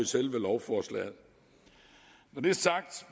selve lovforslaget når det er sagt